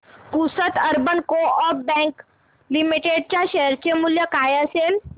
Pusad urban coop bank limited च्या share चे मूल्य काय असेल